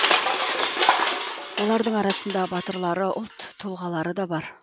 олардың арасында батырлары ұлт тұлғалары да бар